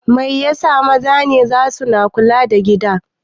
Mai yasa maza ne zasu na kula da gida?